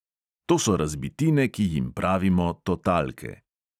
To so razbitine, ki jim pravimo totalke.